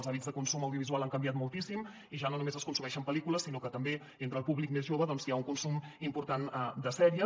els hàbits de consum audiovisual han canviat moltíssim i ja no només es consumeixen pel·lícules sinó que també entre el públic més jove hi ha un consum important de sèries